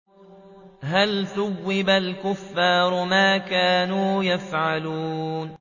هَلْ ثُوِّبَ الْكُفَّارُ مَا كَانُوا يَفْعَلُونَ